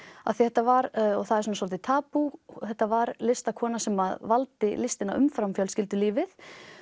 af því þetta var og er svolítið tabú þetta var listakona sem valdi listina umfram fjölskyldulífið